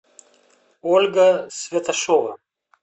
ольга святошова